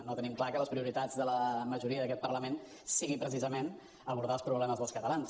no tenim clar que les prioritats de la majoria d’aquest parlament siguin precisament abordar els problemes dels catalans